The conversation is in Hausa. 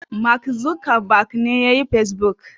Mak Zukeber ne ya yi pesbuk.